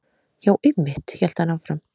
Já, einmitt- hélt hann áfram.